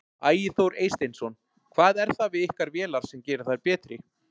Ægir Þór Eysteinsson: Hvað er það við ykkar vélar sem gerir þær betri?